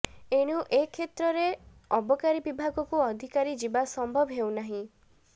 ଏଣୁ ଏ କ୍ଷେତ୍ରରୁ ଅବକାରୀ ବିଭାଗକୁ ଅଧିକାରୀ ଯିବା ସମ୍ଭବ ହେଉନାହିଁ